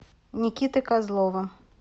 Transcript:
никиты козлова